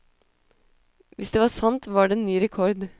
Hvis det var sant, var det ny rekord.